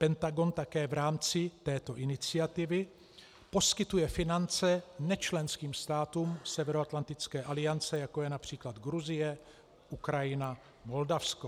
Pentagon také v rámci této iniciativy poskytuje finance nečlenským státům Severoatlantické aliance, jako je například Gruzie, Ukrajina, Moldavsko.